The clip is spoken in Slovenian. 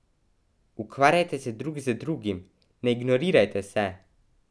Ukvarjajte se drug z drugim, ne ignorirajte se!